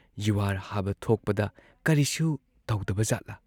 ꯌꯨꯍꯥꯔ ꯍꯥꯕ ꯊꯣꯛꯄꯗ ꯀꯔꯤꯁꯨ ꯇꯧꯗꯕ ꯖꯥꯠꯂꯥ?